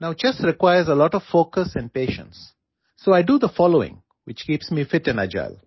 Now Chess requires a lot of focus and patience, so I do the following which keeps me fit and agile